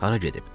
Hara gedib?